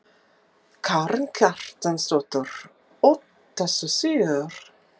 Karen Kjartansdóttir: Óttastu sigur?